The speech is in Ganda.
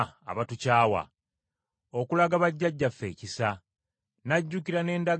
okulaga bajjajjaffe ekisa, n’ajjukira n’endagaano ye entukuvu,